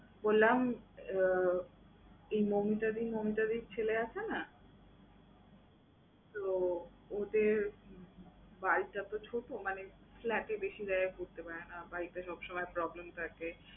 বললাম উহ এই মৌমিতাদি, মৌমিতাদির ছেলে আছে না? তো ওদের বাড়িটাতো ছোট, মানে flat এ বেশি জায়গায় ঘুরতে পারে না, বাড়িতে সবসময় problems থাকে।